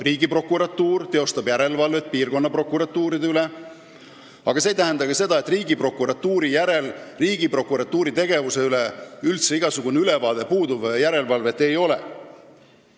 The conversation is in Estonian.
Riigiprokuratuur teostab järelevalvet piirkonnaprokuratuuride üle, mis ei tähenda aga seda, et Riigiprokuratuuri tegevuse üle puudub üldse igasugune ülevaade ja et järelevalvet ei ole.